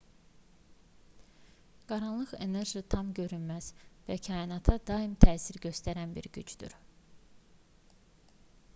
qaranlıq enerji tam görünməz və kainata daim təsir göstərən bir gücdür